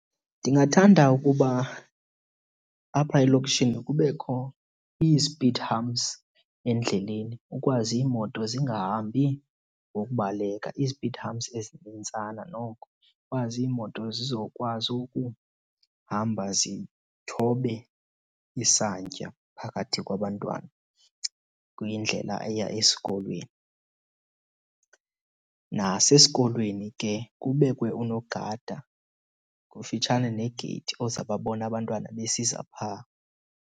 Ndingathanda ukuba apha elokishini kubekho izipidi humps endleleni ukwazi iimoto zingahambi ngokubaleka. Izipidi humps ezinintsana noko ikwazi iimoto zizokwazi ukuhamba zithobe isantya phakathi kwabantwana kwindlela eya esikolweni. Nasesikolweni ke kubekwe unogada kufitshane negeyithi ozawubabona abantwana besiza phaa.